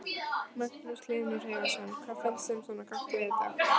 Magnús Hlynur Hreiðarsson: Hvað finnst þeim svona gott við þetta?